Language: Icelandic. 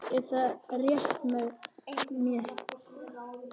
Er það réttmæt sýn að þínu mati?